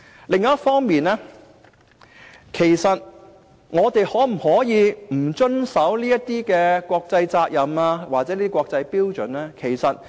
另一方面，我們可否不遵守這些國際責任或國際標準？